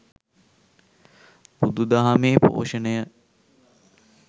බුදුදහමේ පෝෂණය